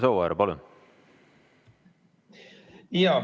Imre Sooäär, palun!